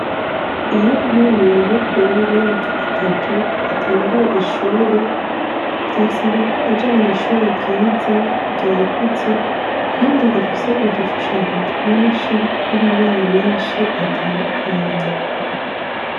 Iyo umwana muto w'imyaka itatu atanguye ishure, vyasaba ko aja mw'ishure ryiza ryagutse kandi rifise udushushanyo twinshi tw'amabara menshi atandukanye.